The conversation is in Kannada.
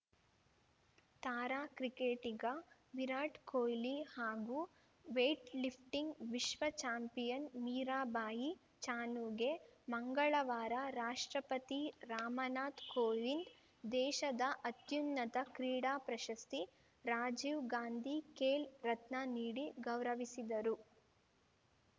ತಾರಾ ಕ್ರಿಕೆಟಿಗ ವಿರಾಟ್‌ ಕೊಹ್ಲಿ ಹಾಗೂ ವೇಟ್‌ಲಿಫ್ಟಿಂಗ್‌ ವಿಶ್ವ ಚಾಂಪಿಯನ್‌ ಮೀರಾಬಾಯಿ ಚಾನುಗೆ ಮಂಗಳವಾರ ರಾಷ್ಟ್ರಪತಿ ರಾಮನಾಥ್‌ ಕೋವಿಂದ್‌ ದೇಶದ ಅತ್ಯುನ್ನತ ಕ್ರೀಡಾ ಪ್ರಶಸ್ತಿ ರಾಜೀವ್‌ ಗಾಂಧಿ ಖೇಲ್‌ ರತ್ನ ನೀಡಿ ಗೌರವಿಸಿದರು